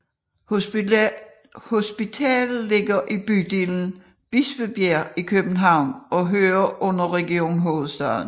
Hospitalet ligger i bydelen Bispebjerg i København og hører under Region Hovedstaden